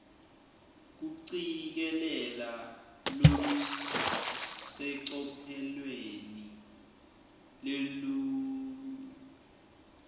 kucikelela lolusecophelweni lelisetulu